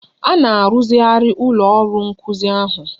A na-arụzigharị ụlọ ọrụ nkuzi ahụ.